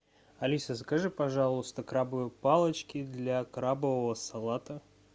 алиса закажи пожалуйста крабовые палочки для крабового салата